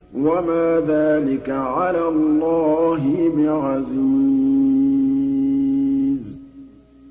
وَمَا ذَٰلِكَ عَلَى اللَّهِ بِعَزِيزٍ